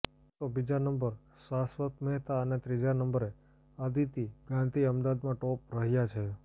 તો બીજા નંબર શાશ્વત મહેતા અને ત્રીજા નંબરે અદિતી ગાંધી અમદાવાદમાં ટોપ રહ્યા છે